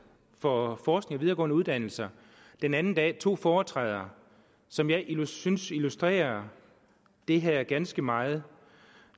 for forskning videregående uddannelser den anden dag to foretræder som jeg synes illustrerer det her ganske meget